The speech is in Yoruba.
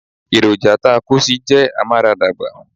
Èròjà takosì jẹ́ amaradagba.